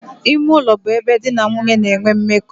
Ime ulo bu ebe di na nwunye na-enwe mmeko.